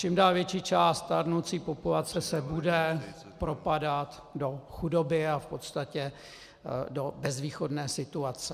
Čím dál větší část stárnoucí populace se bude propadat do chudoby a v podstatě do bezvýchodné situace.